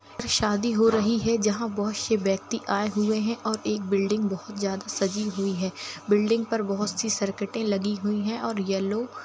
शादी हो रही है जहा बहुत सी व्यक्ति आये हुए हैऔर एक बिल्डिंग बहुत अच्छी सजी हुई है और बिल्डिग पर बहुत सारी सर्किट लगी हुई है और येलो --